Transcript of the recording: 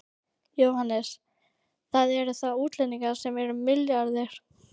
Jóhannes: Það eru þá útlendingarnir sem eru milliliðir?